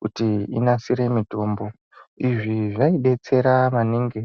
kuti inasire mitombo, izvi zvaibetsera maningi.